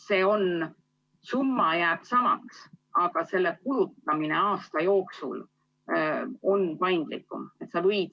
Summa jääb samaks, aga selle kulutamine aasta jooksul on paindlikum.